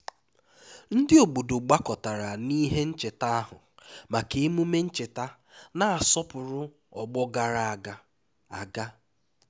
ndị obodo gbakọtara n'ihe ncheta ahụ maka emume ncheta na-asọpụrụ ọgbọ gara aga aga